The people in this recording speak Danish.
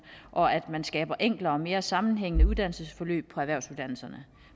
og at man skaber enklere og mere sammenhængende uddannelsesforløb på erhvervsuddannelserne